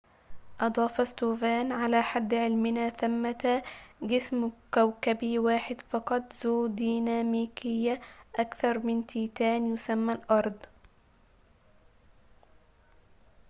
أضاف ستوفان على حد علمنا ثمة جسم كوكبي واحد فقط ذو ديناميكية أكثر من تيتان يُسمى الأرض